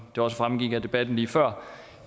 det også fremgik af debatten lige før